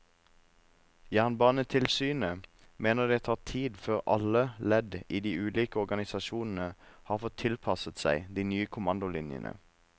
Jernbanetilsynet mener det tar tid før alle ledd i de ulike organisasjonene har fått tilpasset seg de nye kommandolinjene.